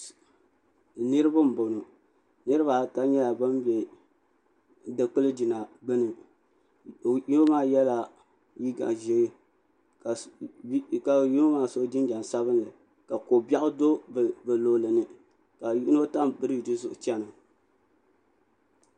niraba n bɔŋɔ niraba ata nyɛla ban bɛ dikili jina gbuni yino maa yɛla liiga ʒiɛ ka yino maa so jinjɛm sabinli ka ko biɛɣu do bi luɣuli ni ka yino tam biriji zuɣu chɛna